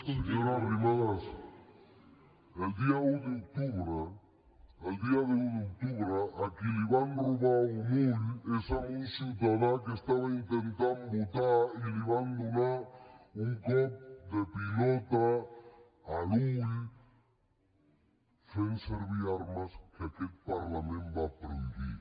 senyora arrimadas el dia un d’octubre a qui li van robar un ull és a un ciutadà que estava intentant votar i li van donar un cop de pilota a l’ull fent servir armes que aquest parlament va prohibir